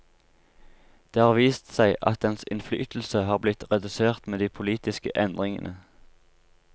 Det har vist seg at dens innflytelse har blitt redusert med de politiske endringene.